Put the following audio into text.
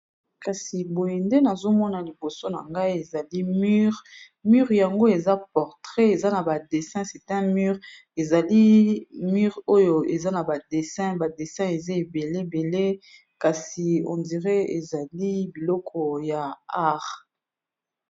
Kasi boye ndenazomona liboso na ngai ezali mur, mur yango eza portrait eza na ba dessins sitin mur ezali mur oyo eza na ba de badessin eza elebele kasi on diré ezali biloko ya arts .